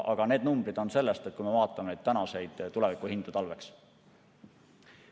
Aga need numbrid on öeldud selle põhjal, kui me vaatame tänaseid tulevikuhindu, talvele mõeldes.